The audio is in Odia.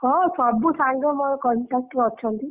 ହଁ ସବୁ ସାଙ୍ଗ ମୋର contact ରେ ଅଛନ୍ତି।